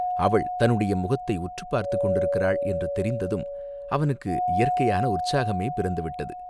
அவள் தன்னுடைய முகத்தை உற்றுப் பார்த்துக் கொண்டிருக்கிறாள் என்று தெரிந்ததும் அவனுக்கு இயற்கையான உற்சாகமே பிறந்து விட்டது.